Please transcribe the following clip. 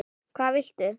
hvað viltu?